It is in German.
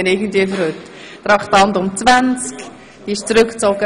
Traktandum 20 wird zurückgezogen.